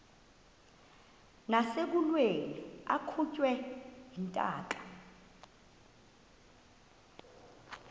nasekulweni akhutshwe intaka